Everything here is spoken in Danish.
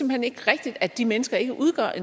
hen ikke rigtigt at de mennesker ikke udgør